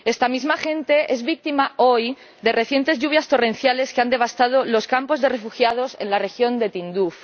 Esta misma gente es víctima, hoy, de las recientes lluvias torrenciales que han devastado los campos de refugiados en la región de Tinduf.